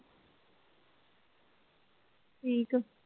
ਠੀਕ ਐ.